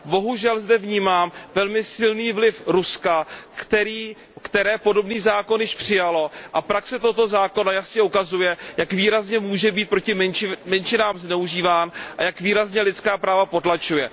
Bohužel zde vnímám velmi silný vliv Ruska, které podobný zákon již přijalo a praxe tohoto zákona jasně ukazuje, jak výrazně může být proti menšinám zneužíván a jak výrazně lidská práva potlačuje.